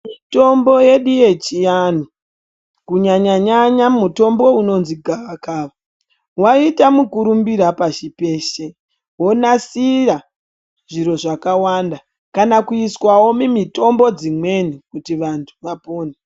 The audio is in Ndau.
Mitombo yedu yechiantu kunyanya nyanya mutombo unozi gavakava, waite mukurumbira pashi peshe .Wonasira zviro zvakawanda ,kana kuiswa mumitombo dzimweni kuti vantu vapone.